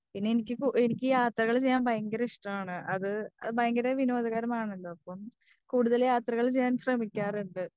എനിക്ക് യാത്രകൾ ചെയ്യാൻ ഭയങ്കര ഇഷ്ടമാണ്. അത് വളരെ വിനോദകരമാണല്ലോ. അപ്പം കൂടുതൽ യാത്രകൾ ചെയ്യാൻ ശ്രെമിക്കാറുണ്ട്.